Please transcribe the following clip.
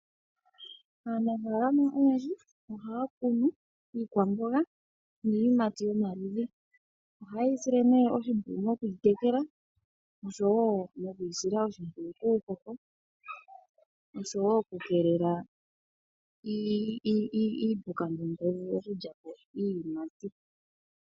Aanafaalama oyendji ohaya kunu iikwamboga niiyimati yomaludhi, ohaye yi sile nee oshimpwiyu mokuyi tekela oshowo moku yi sila oshimpwiyu kuupuka, oshowo okukeelela iipuka mbyono tayi vulu okulya po iiyimati.